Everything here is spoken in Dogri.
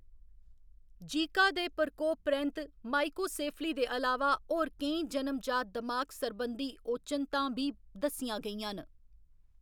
जीका दे प्रकोप परैंत्त माइक्रोसेफली दे अलावा होर केईं जनम जात दमाग सरबंधी ओचनतां बी दस्सियां गेइयां न।